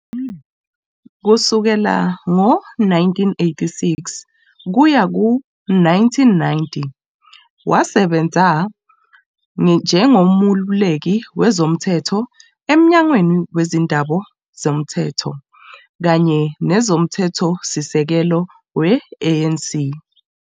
Kusukela ngo-1986 kuya ku-1990 wasebenza njengomeluleki wezomthetho eMnyangweni Wezindaba Zomthetho kanye Nezomthethosisekelo we-ANC.